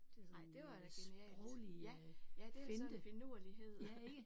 Ej det var da genialt. Ja ja det er sådan en finurlighed